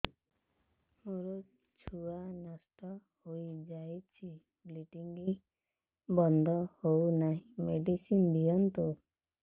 ମୋର ଛୁଆ ନଷ୍ଟ ହୋଇଯାଇଛି ବ୍ଲିଡ଼ିଙ୍ଗ ବନ୍ଦ ହଉନାହିଁ ମେଡିସିନ ଦିଅନ୍ତୁ